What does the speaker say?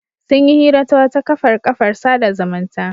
Sun yi hira ta wata kafar kafar sada zumunta.